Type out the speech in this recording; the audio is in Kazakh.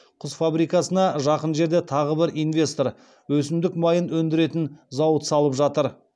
құс фабрикасына жақын жерде тағы бір инвестор өсімдік майын өндіретін зауыт салып жатыр